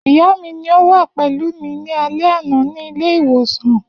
Iya mi ni o wa pẹlu mi ni alẹ ana ni ile-iwosan.